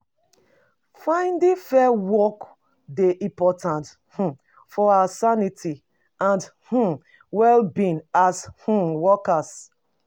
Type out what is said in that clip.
Finding fair work dey important um for our sanity and um wellbeing as um workers.